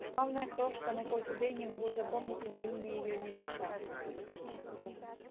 славная крошка но хоть убей не могу запомнить ни имени её ни лица